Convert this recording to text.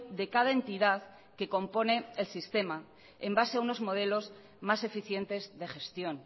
de cada entidad que compone el sistema en base a unos modelos más eficientes de gestión